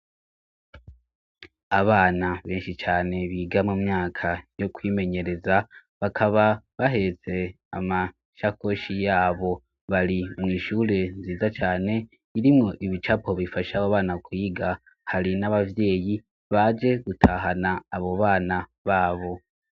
Abana benshi cane biga mu myaka yo kwimenyereza bakaba baheze amasha koshi yabo bari mw'ishure nziza cane irimwo ibicapo bifasha bo bana kwiga hari n'abavyeyi baje gutahana abo bana babo.